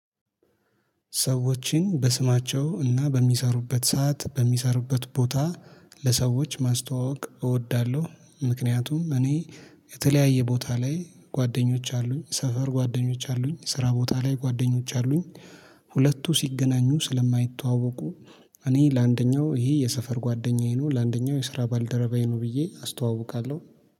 ሰዎችን በስማቸው እና በሚሰሩበት ሰዓት በሚሰሩበት ቦታ ለሰዎች ማስተዋወቅ እወዳለሁ ምክንያቱም እኔ የተለያየ ቦታ ላይ ጓደኞች አሉኝ ሰፈር ጓደኞች አሉኝ ስራ ቦታ ላይ ጓደኞች አሉኝ። ሁለቱ ሲገናኙ ስለማይተዋወቁ። እኔ ለአንደኛው ይሄ የሰፈር ጓደኛዬ ነው። ለአንደኛው የስራ ባልደረባዬ ነው ብዬ አስተዋውቃለሁ